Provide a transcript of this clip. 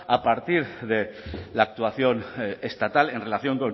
a partir de la actuación estatal en relación